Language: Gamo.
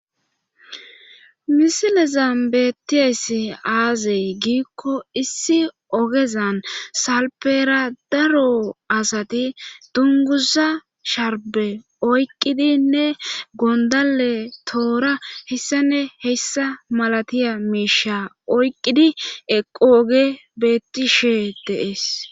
misile zam beettiees aazey giikko issi ogezan salperadaro asati dunguza sharbe oyqqidinne gondale toora hessane heyssa malatiya miisha oyqqidi eqooge bettishe deees